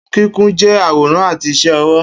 Kikun jẹ aworan ati iṣẹ ọwọ.